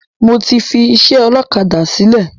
Mo ti fi ìṣe ọlọ́kadà sìlẹ̀